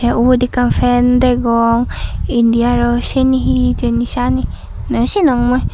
te ubot ekkan fan degong indi aro seyeni he hejani seyani noyosinog mui.